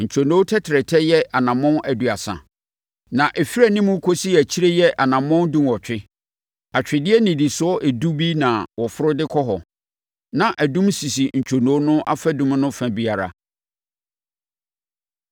Ntwonoo no tɛtrɛtɛ yɛ anammɔn aduasa, na ɛfiri anim kɔsi akyire yɛ anammɔn dunwɔtwe. Atwedeɛ nnidisoɔ edu bi na wɔforo de kɔ hɔ. Na adum sisi ntwonoo no afadum no fa biara.